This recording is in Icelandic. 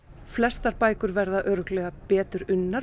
flestar bækur verða örugglega betur unnar